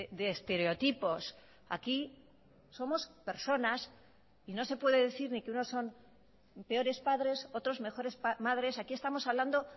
de estereotipos aquí somos personas y no se puede decir ni que uno son peores padres otros mejores madres aquí estamos hablando